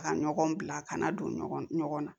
Ka ɲɔgɔn bila kana don ɲɔgɔn na